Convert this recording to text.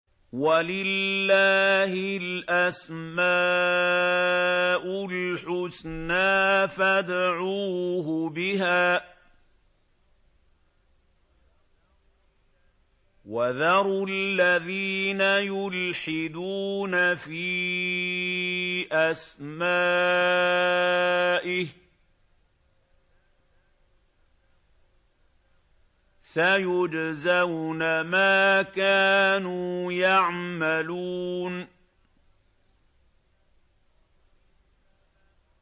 وَلِلَّهِ الْأَسْمَاءُ الْحُسْنَىٰ فَادْعُوهُ بِهَا ۖ وَذَرُوا الَّذِينَ يُلْحِدُونَ فِي أَسْمَائِهِ ۚ سَيُجْزَوْنَ مَا كَانُوا يَعْمَلُونَ